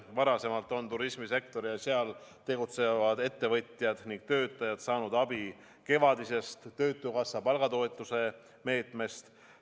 Varasemalt on turismisektor ja seal tegutsevad ettevõtjad ning töötajad saanud abi kevadisest töötukassa palgatoetuse meetmest.